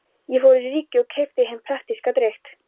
Ég fór í Ríkið og keypti hinn praktíska drykk